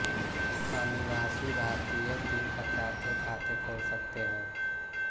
अनिवासी भारतीय तीन प्रकार के खाते खोल सकते हैं